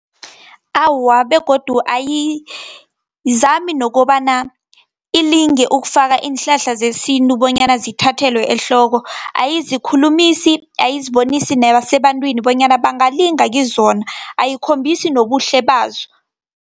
Awa, begodu ayizami nokobana ilinge ukufaka iinhlahla zesintu bonyana zithathelwe ehloko, ayizikhulumisi, ayizibonisi nasebantwini bonyana bangalinga kizona, ayikhombisi nobuhle bazo.